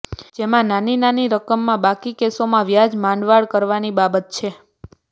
જેમાં નાની નાની રકમના બાકી કેસોમાં વ્યાજ માંડવાળ કરવાની બાબત છે